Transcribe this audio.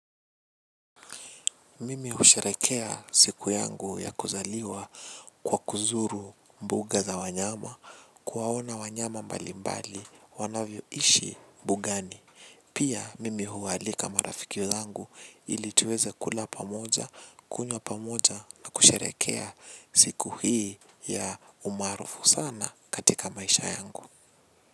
Mimi husherehekea siku yangu ya kuzaliwa kwa kuzuru mbuga za wanyama kuwaona wanyama mbali mbali wanavyoishi bugani. Pia mimi hualika marafiki zangu ili tuweze kula pamoja, kunywa pamoja na kusherehekea siku hii ya umarufu sana katika maisha yangu.